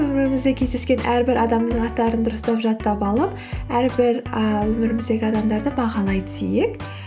өмірімізде кездескен әрбір адамның аттарын дұрыстап жаттап алып әрбір і өміріміздегі адамдарды бағалай түсейік